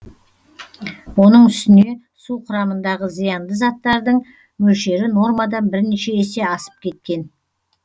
оның үстіне су құрамындағы зиянды заттардың мөлшері нормадан бірнеше есе асып кеткен